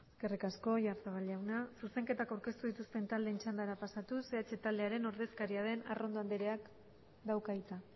eskerrik asko oyarzabal jauna zuzenketak aurkeztu dituzten taldeen txandara pasatuz eh bildu taldearen ordezkaria den arrondo andreak dauka hitza